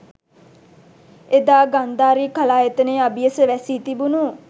එදා ගන්ධාරි කලායතනය අබියස වැසී තිබුණු